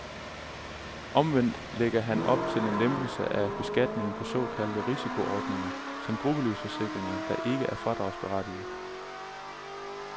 Omvendt lægger han op til en lempelse af beskatningen af såkaldte risikoordninger som gruppelivsforsikringer, der ikke er fradragsberettigede.